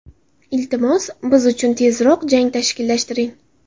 Iltimos, biz uchun tezroq jang tashkillashtiring.